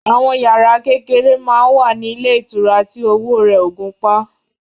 Àwọn yàrá kékeré máa ń wà ní ilé ìtura tí owó rẹ̀ ò gunpá